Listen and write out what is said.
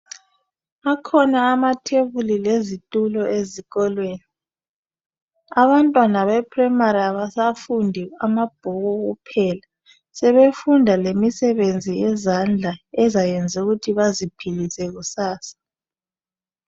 Kukhona amatafula ezikolweni ikakhulu beprimary, abantwana abasafundi amabhuku kuphela kodwa lemisebenzi yezandla ukuthi baziphilise kusasa.